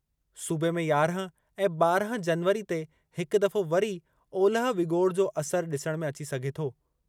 सूबे में यारहं ऐं ॿारहं जनवरी ते हिक दफ़ो वरी ओलह विॻोड़ जो असरु डि॒सणु में अची सघे थो।